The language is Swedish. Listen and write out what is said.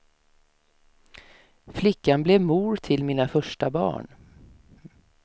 Flickan blev mor till mina första barn.